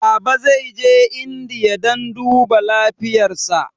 Baba zai je indiya dan duba lafiyar sa